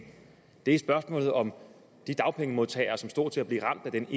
det er spørgsmålet om de dagpengemodtagere som stod til at blive ramt af den